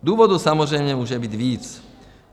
Důvodů samozřejmě může být víc.